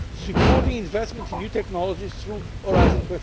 supporting investment in new technologies through Horizon